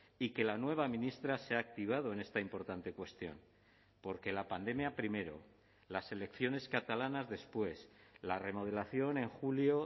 y que la nueva ministra se ha activado en esta importante cuestión porque la pandemia primero las elecciones catalanas después la remodelación en julio